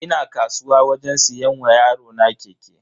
Ina kasuwa wajen siyan wa yarona keke.